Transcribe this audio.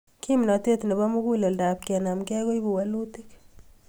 Kimnatet nebo muguleldap kenemgei koipu walutik